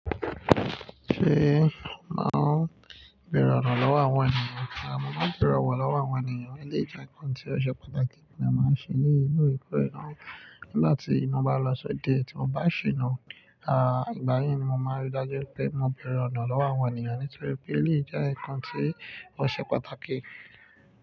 Ṣé máa ń bẹ̀rẹ̀ ọ̀nà lọ́wọ́ àwọn ènìyàn? Rárá, màá bẹ̀rẹ̀ ọ̀wọ̀ lọ́wọ́ àwọn ènìyàn. Èleyí jẹ́ ǹkan tí ó ṣe pàtàkì tí màá ń ṣe ní ìlú Èkó rí náà. Nigba ti mo bá lọ sí ode ti mo bá ṣìna, à ìgbà yẹn ni mo máa rí i dájú pé mo bẹ̀rẹ̀ ọ̀nà lọ́wọ́ àwọn ènìyàn nítorí pé èyí jẹ́ ǹkan tí ó ṣe pàtàkì.